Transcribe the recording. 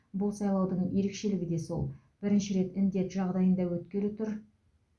бұл сайлаудың ерекшелігі де сол бірінші рет індет жағдайында өткелі тұр